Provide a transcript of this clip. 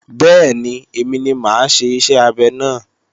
Bẹ́ẹ̀ni, èmi ni mà á ṣe iṣẹ́ abẹ náà